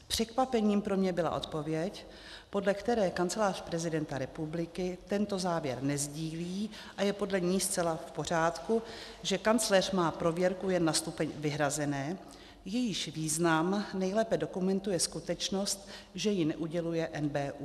Překvapením pro mě byla odpověď, podle které Kancelář prezidenta republiky tento závěr nesdílí, a je podle ní zcela v pořádku, že kancléř má prověrku jen na stupeň vyhrazené, jejíž význam nejlépe dokumentuje skutečnost, že jí neuděluje NBÚ.